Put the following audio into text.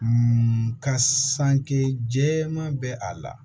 ka sanke jɛman bɛ a la